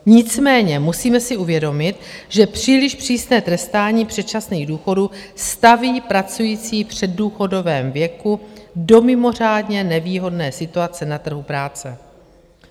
Nicméně musíme si uvědomit, že příliš přísné trestání předčasných důchodů staví pracující v předdůchodovém věku do mimořádně nevýhodné situace na trhu práce.